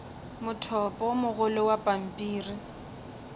mothopo o mogolo wa pampiri